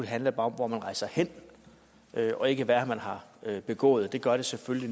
handler om hvor man rejser hen og ikke hvad man har begået det gør selvfølgelig